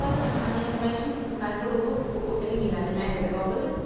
Bə bunlar da biz təmin eləmək üçün biz məcbur olub otelin qiymətini müəyyən qədər qaldırırıq.